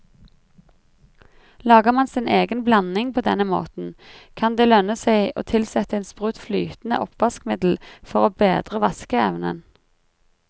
Lager man sin egen blanding på denne måten, kan det lønne seg å tilsette en sprut flytende oppvaskmiddel for å bedre vaskeevnen.